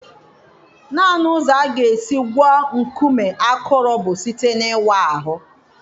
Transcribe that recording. Naanị ụzọ a ga-esi gwọọ nkume akụrụ bụ site n'ịwa ahụ.